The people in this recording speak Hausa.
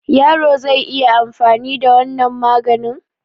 Yaro zai iya anfani da wannan maganin?